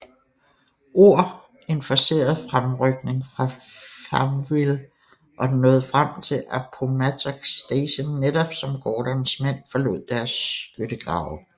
Ord en forceret fremrykning fra Farmville og den nåede frem til Appomattox Station netop som Gordons mænd forlod deres skyttegrave